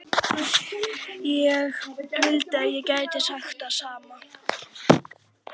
Ég vildi að ég gæti sagt það sama.